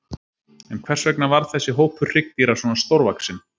En hvers vegna varð þessi hópur hryggdýra svona stórvaxinn?